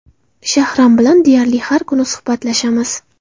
Shahram bilan deyarli har kuni suhbatlashamiz.